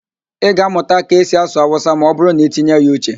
Ị ga-amụta ka esi asụ Awụsa ma ọ bụrụ na-itinye ya uche.